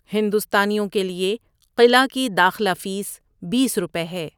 ہندوستانیوں کے لیے قلعہ کی داخلہ فیس بیس روپے ہے۔